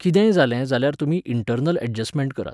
कितेंय जालें जाल्यार तुमी इंटर्नल ऍडजस्टमॅण्ट करात.